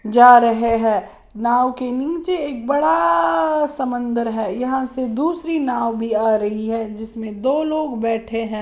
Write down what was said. जा रहे हैं नाव के नीचे एक बड़ा समंदर है यहां से दूसरी नाव भी आ रही है जिसमें दो लोग बैठे हैं।